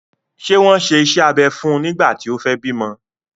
Ṣé wọ́n ṣe iṣẹ́ abẹ fún nígbà tí o fẹ bímọ?